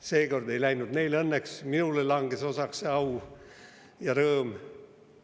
Seekord ei läinud neil õnneks, minule langes osaks see au ja rõõm.